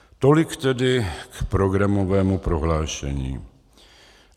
Tolik tedy k programovému prohlášení.